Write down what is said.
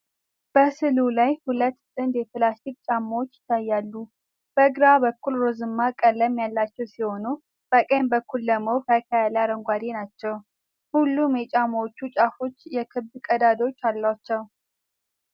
በስእሉ ላይ ሁለት ጥንድ የፕላስቲክ ጫማዎች ይታያሉ። በግራ በኩል ሮዝማ ቀለም ያላቸው ሲሆኑ፣ በቀኝ በኩል ደግሞ ፈካ ያለ አረንጓዴ ናቸው። ሁሉም የጫማዎቹ ጫፎች የክብ ቀዳዳዎች አሏቸው።